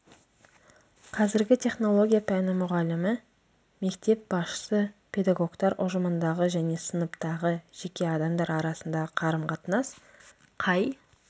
қазіргі технология пәні мұғалімі мектеп басшысы педагогтар ұжымындағы және сыныптағы жеке адамдар арасындағы қарым қатынас қай